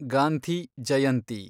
Gandhi Jayanti